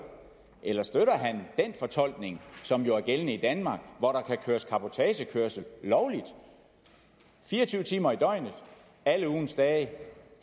eller støtter han den fortolkning som jo er gældende i danmark hvor der kan køres cabotagekørsel lovligt fire og tyve timer i døgnet alle ugens dage